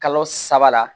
Kalo saba la